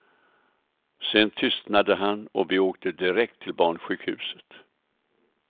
Sen tystnade han och vi åkte direkt till barnsjukhuset.